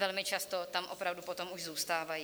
Velmi často tam opravdu potom už zůstávají.